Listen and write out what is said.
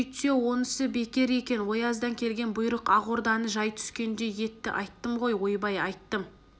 сөйтсе онысы бекер екен ояздан келген бұйрық ақ орданы жай түскендей етті айттым ғой ойбай айттым